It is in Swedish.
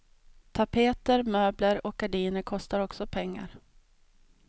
Tapeter, möbler och gardiner kostar också pengar.